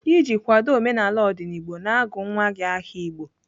Iji kwado omenala ndigbo, na-agụ nwa gị aha Igbo.